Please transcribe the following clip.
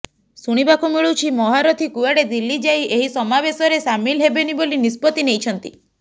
ଶୁଣିବାକୁ ମିଳୁଛି ମହାରଥୀ କୁଆଡେ ଦିଲ୍ଲୀ ଯାଇ ଏହି ସମାବେଶରେ ସାମିଲ ହେବେନି ବୋଲି ନିଷ୍ପତ୍ତି ନେଇଛନ୍ତି